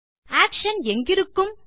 action எங்கிருக்கும்